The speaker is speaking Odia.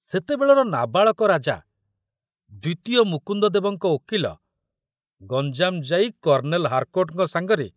ସେତେବେଳର ନାବାଳକ ରାଜା ଦ୍ୱିତୀୟ ମୁକୁନ୍ଦଦେବଙ୍କ ଓକିଲ ଗଞ୍ଜାମ ଯାଇ କର୍ଣ୍ଣେଲ ହାରକୋର୍ଟଙ୍କ ସାଙ୍ଗରେ